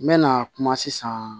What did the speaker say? N mɛna kuma sisan